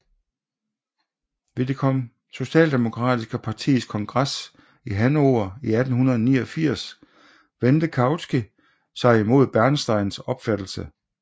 Ved det socialdemokratiske partis kongres i Hannover i 1889 vendte Kautsky sig mod Bernsteins opfattelse